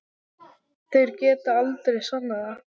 Þeir geta aldrei sannað það!